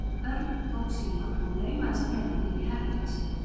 Örn tók símann og laumaðist með hann inn í herbergið sitt.